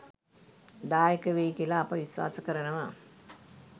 දායක වෙයි කියලා අප විශ්වාස කරනවා.